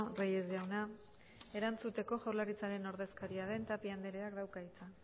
reyes jauna erantzuteko jaurlaritzaren ordezkaria den tapia andereak dauka hitza